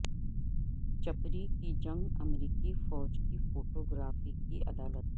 چپری کی جنگ امریکی فوج کی فوٹو گرافی کی عدالت